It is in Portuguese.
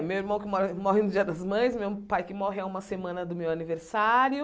Meu irmão que mora morre no dia das mães, meu pai que morre a uma semana do meu aniversário,